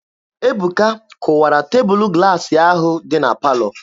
Ebuka kụwara tebụlụ glaasị ahụ dị na palọ.